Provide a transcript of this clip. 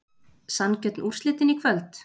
Sanngjörn úrslitin í kvöld?